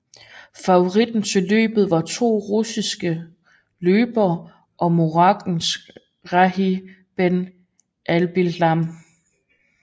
Favoritterne til løbet var to russiske løbere og marokanske Rhadi Ben Adbesselem